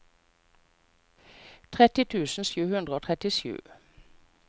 tretti tusen sju hundre og trettisju